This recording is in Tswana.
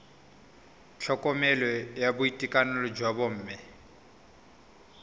tlhokomelo ya boitekanelo jwa bomme